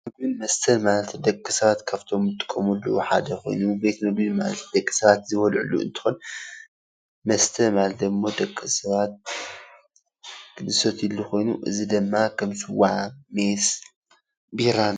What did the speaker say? መስተ ማለት ደቂ ሰባት ካብቶም ዝጥቀምሎም ሓደ ኮይኑ ቤት ምግቢ ማለት ደቂ ሰባት ዝበልዕሉ እንትኮን መስተ ማለት ድም ደቂ ሰባት ዝሰትይሉ ኮይኑ እዚ ድማ ከም ስዋ፣ ሚየስ፣ ቢራ